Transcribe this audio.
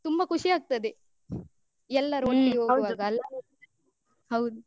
ತುಂಬಾ ಖುಷಿಯಾಗ್ತದೆ ಎಲ್ಲರು ಒಟ್ಟಿಗೆ ಹೋಗುವಾಗ ಹೌದು.